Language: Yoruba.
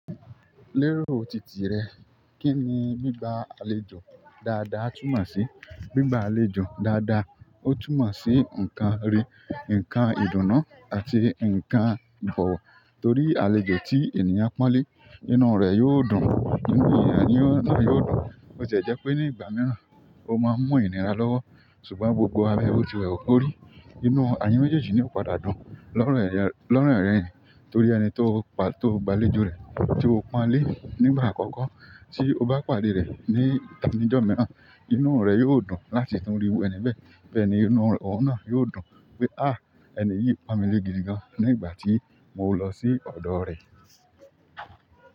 Lérò titì rẹ, kí ni gbigba àlejò dáadáa túmọ̀ sí? Gbigba àlejò dáadáa, ó túmọ̀ sí nǹkan re, nǹkan ìdùnnú àti nǹkan ìbọ̀wọ̀. Torí àlejò ti ènìyàn ponle inú re yio dùn. Bo tiẹ̀ jẹ́ pé ní ìgbà mìíràn, ó máa ń mun inira lọ́wọ̀, ṣùgbọ́n gbogbo lábẹ́ botilewu kó rí. Inú eyin méjèèjì yóò padà dùn lẹ̀yin ọ̀reyin, torí ẹni tó gbá àlejò rẹ̀, tí ó pọn lé nígbà àkọ́kọ́, tí ó bá pàdé rẹ̀ ní ìta nijọ́ mìíràn, inú rẹ̀ yóò dùn láti tún rí iru ẹni bẹ́ẹ̀. Bẹ́ẹ̀ni inú ohun náà yiò dùn pé, "à, ẹni yìí pamọ́ lé gidi gan-an ní ìgbà tí mo lọ sí ọ̀dọ̀ rẹ̀."